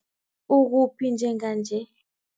Ukuphi njenganje?